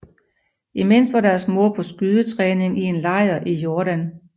Imens var deres mor på skydetræning i en lejr i Jordan